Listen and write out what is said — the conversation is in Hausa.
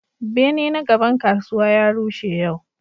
Bene na gaban kasuwa ya rushe yau.